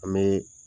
An bɛ